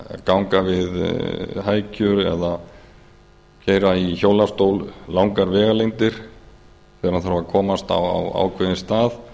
ganga við hækjur eða vera í hjólastól langar vegalengdir þegar þeir ætla að komast á ákveðinn stað